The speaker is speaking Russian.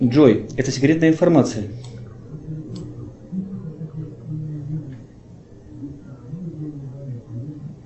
джой это секретная информация